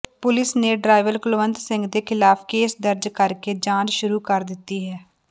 police ਨੇ driver Kulwant Singh ਦੇ ਖਿਲਾਫ਼ ਕੇਸ ਦਰਜ ਕਰਕੇ ਜਾਂਚ ਸ਼ੁਰੂ ਕਰ ਦਿੱਤੀ ਹੈ